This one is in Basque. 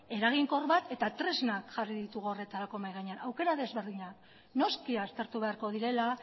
eraginkor bat eta tresnak jarri ditugu horretarako mahi gainean aukera desberdina noski aztertu beharko direla